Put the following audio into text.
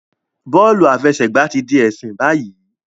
Bọọlu afẹsẹgba ti di ẹsin bayi